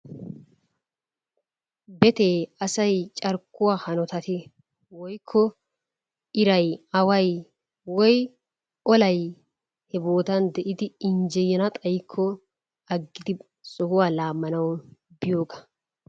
Betee asay carkkuwa hanotatti woykko iray away woyi olay he boottan de'iddi injjeyana xayikko aggidi sohuwa lamanawu biyoogaa.